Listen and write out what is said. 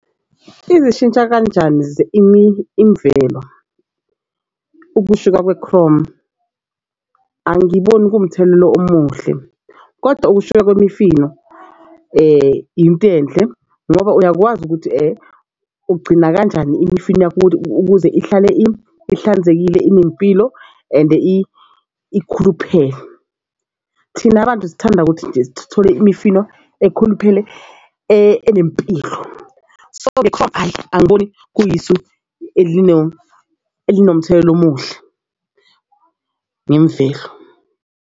Izishitsha kanjani imvelo ukushuka kwekhromu. Angiboni kuwumthelela omuhle kodwa ukushuka kwemifino into enhle ngoba uyakwazi ukuthi ugcina kanjani imifino yakho ukuthi, ukuze ihlale ihlanzekile inempilo ende ikhuluphele. Thina bantu sithanda ukuthi nje sithole imifino ekhuluphele enempilo. So angiboni kuyisu elinomthelela omuhle ngemvelo.